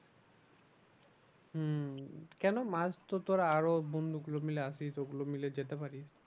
হম কেন মাছ তো তোরা আরো বন্ধু গুলো মিলে আসিস ওগুলো মিলে যেতে পারিস।